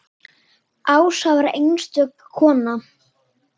Ása var einstök kona.